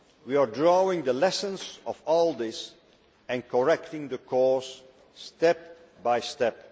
We are drawing lessons from all of this and correcting the course step by step.